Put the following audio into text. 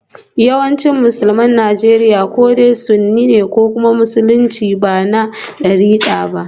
Yawancin Musulman Najeriya ko dai sunni ne ko kuma musulmin da ba na darika ba.